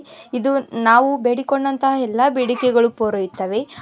ಇದು ನಾವು ಬೇಡಿಕೊಂಡಂತ ಎಲ್ಲಾ ಪೂರೈಕೆಗಳು ಪುರೋಹಿತವೇ.